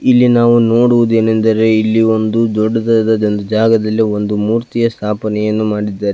ಇಲ್ಲಿ ನಾವು ನೋಡುವುದೇನೆಂದರೆ ಇಲ್ಲಿ ಒಂದು ದೊಡ್ಡದಾದ ಒಂದು ಜಾಗದಲ್ಲಿ ಒಂದು ಮೂರ್ತಿಯ ಸ್ಥಾಪನೆಯನ್ನು ಮಾಡಿದ್ದಾರೆ.